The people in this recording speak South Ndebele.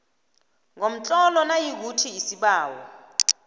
ngomtlolo nayikuthi isibawo